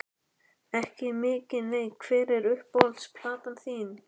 Ekki mikið nei Hver er uppáhalds platan þín?